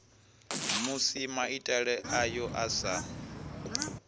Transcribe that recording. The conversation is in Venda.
musi maitele ayo a sa